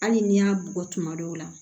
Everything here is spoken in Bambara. Hali n'i y'a bugɔ tuma dɔw la